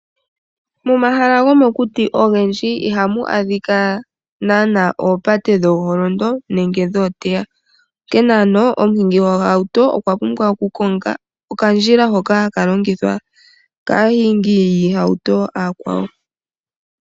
Momahala gomokuti ogendji ihamu adhika naana oopate dhooholondo nenge dhooteya, onkene ano omuhingi gohauto okwa pumbwa oku konga okandjila hoka haka longithwa kaahingi yiihauto aakwawo.